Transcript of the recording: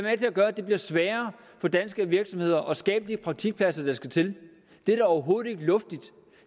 at gøre at det bliver sværere for danske virksomheder at skabe de praktikpladser der skal til det er da overhovedet ikke luftigt